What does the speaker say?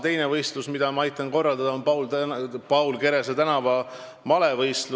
Teine võistlus, mida ma aitan korraldada, on Paul Kerese tänava maleturniir.